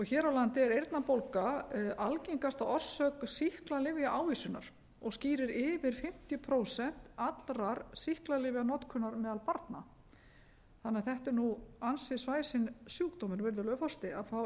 hér á landi er eyrnabólga algengasta orsök sýklalyfjaávísunar og skýrir yfir fimmtíu prósent allrar sýklalyfjanotkunar meðal barna þannig að þetta er ansi svæsinn sjúkdómur virðulegur forseti að fá